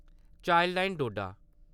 Childline Doda